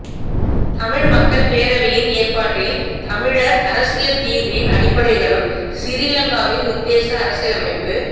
தமிழ் மக்கள் பேரவையின் ஏற்பாட்டில் தமிழர் அரசியல் தீர்வின் அடிப்படைகளும் சிறிலங்காவின் உத்தேச அரசியலமைப்பு